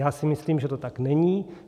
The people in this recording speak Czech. Já si myslím, že to tak není.